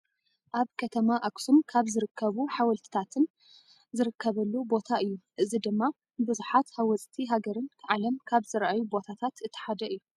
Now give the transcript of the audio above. ኣብ ከተማ ኣክሱም ካብ ዝርከቡ ሓወልትታትን ዝርከበሉ ቦታ እዩ። እዚ ድማ ብብዙሓት ሃወፅቲ ሃገርን ዓለም ካብ ዝረኣዩ ቦታታት እቲ ሓደ እዩ።